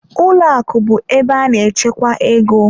Ụlọ akụ bụ ebe a na-echekwa ego.